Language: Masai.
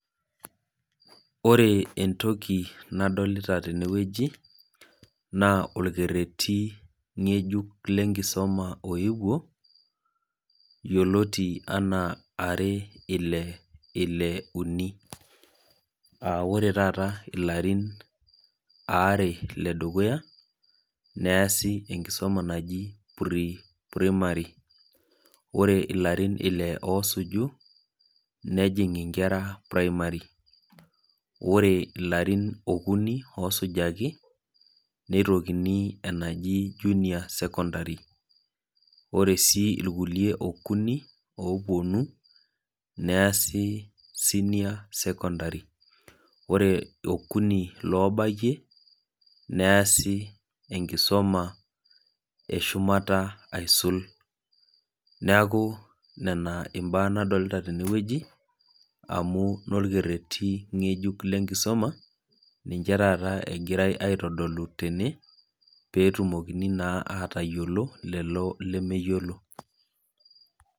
ore entoki nadolita teweji naa olkereti ng'ejuk lenkisuma iyioloti enaa, are ile ile uni, aa ore taa ilarin are ledukuya neesi enkisuma naji pre-primary ore ilarin ile oo suju nejing' inkera pirimari ore aitoki ilarin okuni oosujaki nejing' ikera junior school ore sii aitoki ilkulie okuni oopuonu neesi senior secondary ore okuni oobayie neesi enkisuma eshumata aisul, neeku nena ibaa nadolita teweji amu inokereti ng'ejuk lenkisuma niche taata egirai aitodolu tene pee etumokini naa atayiolo lelo lemeyiolo.